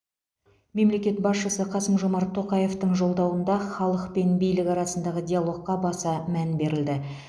мемлекет басшысы қасым жомарт тоқаевтың жолдауында халық пен билік арасындағы диалогқа баса мән берілді